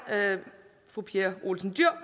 fru pia olsen dyhr